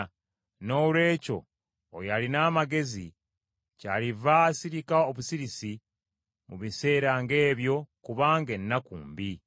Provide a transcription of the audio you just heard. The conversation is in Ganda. Noolwekyo oyo alina amagezi kyaliva asirika obusirisi mu biseera ng’ebyo kubanga ennaku mbi.